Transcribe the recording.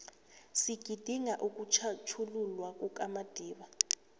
sigidinga ukutjhatjhululwa kukamadiba